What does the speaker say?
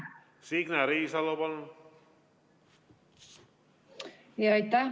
Signe Riisalo, palun!